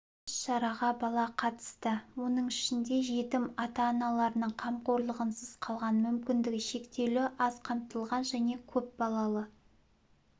іс-шараға бала қатысты оның ішінде жетім ата-аналарының қамқорлығынсыз қалған мүмкіндігі шектеулі аз қамтылған және көп балалы